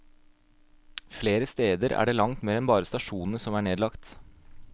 Flere steder er det langt mer enn bare stasjonen som er nedlagt.